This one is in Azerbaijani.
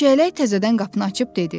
Çiyələk təzədən qapını açıb dedi.